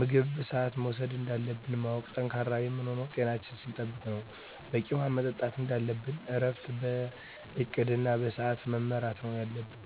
ምግብ በስአቱ መውሰድ እንዳለብን ማወቅ። ጠንካራ የምንሆነው ጤናችን ስንጠብቅ ነው በቂ ውሀ መጠጣት እንደለብን እረፍት በእቅድ እና በስዐት መመራት ነው የለብን